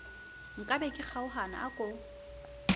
nkabe ke kgaohana a ko